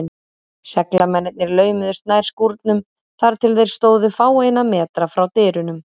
Seglamennirnir laumuðust nær skúrnum, þar til þeir stóðu fáeina metra frá dyrunum.